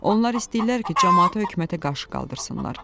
Onlar istəyirlər ki, camaatı hökumətə qarşı qaldırsınlar.